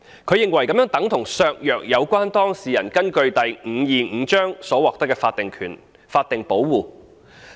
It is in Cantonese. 他認為這樣等同削弱有關當事人根據第525章所獲得的法定保護。